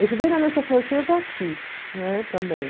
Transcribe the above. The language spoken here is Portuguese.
Eu estudei na Aliança Francesa aqui, né, também.